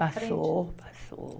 Passou, passou.